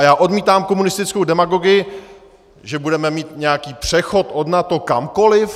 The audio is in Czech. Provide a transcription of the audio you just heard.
A já odmítám komunistickou demagogii, že budeme mít nějaký přechod od NATO kamkoliv.